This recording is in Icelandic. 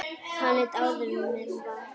Hann lék áður með Val.